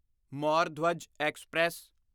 Maur Dhwaj express